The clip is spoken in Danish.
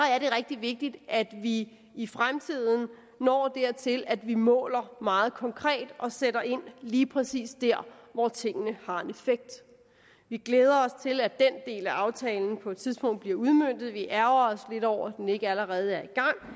rigtig vigtigt at vi i fremtiden når dertil at vi måler meget konkret og sætter ind lige præcis der hvor tingene har en effekt vi glæder os til at den del af aftalen på et tidspunkt bliver udmøntet vi ærgrer os lidt over at den ikke allerede er i